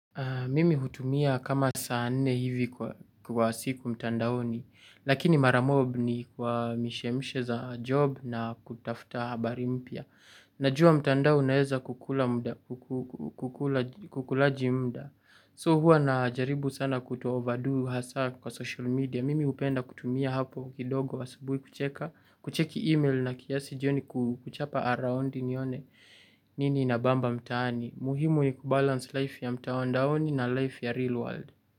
Mimi hutumia kama saa nne hivi kwa kwa siku mtandaoni, lakini mara mob ni kwa mishemishe za job na kutafta habari mpia. Najua mtandao unaeza kukula mda kuku kukulaj kukulaji mda. So hua na jaribu sana kuto-overdo hasaa kwa social media. Mimi hupenda kutumia hapo kidogo asubuhi kucheka, kucheki email na kiasi joni kuchapa a raundi nione nini ina bamba mtaani. Muhimu i kubalance life ya mtawandaoni na life ya real world.